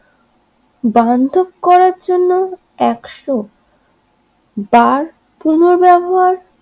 দান্তব করার জন্য একশো যার পুনর্ব্যবহার